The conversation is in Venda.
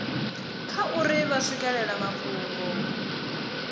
kha uri vha swikelela mafhungo